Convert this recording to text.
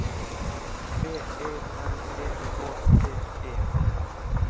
B E N E K T E